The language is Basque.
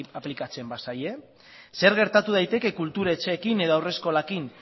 aplikatzen bazaie zer gertatu daiteke kultur etxeekin edo haurreskolekin